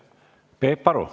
Peep Aru.